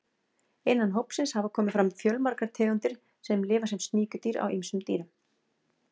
Innan hópsins hafa komið fram fjölmargar tegundir sem lifa sem sníkjudýr á ýmsum dýrum.